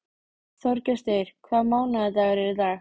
Þorgestur, hvaða mánaðardagur er í dag?